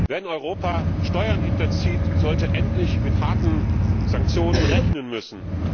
Wer in Europa Steuern hinterzieht, sollte endlich mit harten Sanktionen rechnen müssen.